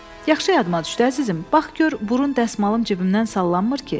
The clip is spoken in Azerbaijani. Yaxşı yadıma düşdü, əzizim, bax gör burun dəsmalım cibimdən sallanmır ki?